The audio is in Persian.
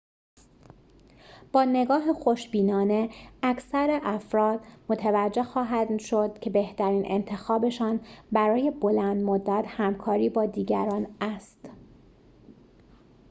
با نگاه خوشبینانه اکثر افرا متوجه خواهند شد که بهترین انتخابشان برای بلندمدت همکاری با دیگران است